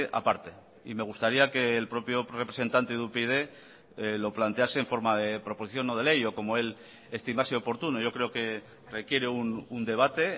aparte y me gustaría que el propio representante de upyd lo plantease en forma de proposición no de ley o como él estimase oportuno yo creo que requiere un debate